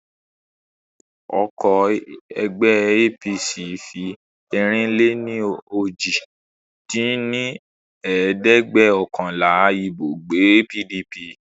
Ọkọ̀ ẹgbẹ́ APC fi ẹ̀rin-lé-ní-ojì dín ní ẹ̀ẹ́dẹ́gbẹ́ọ̀kànlá ibo gbé pdp